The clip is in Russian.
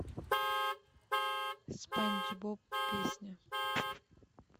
спанч боб песня